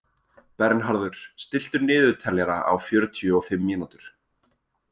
Bernharður, stilltu niðurteljara á fjörutíu og fimm mínútur.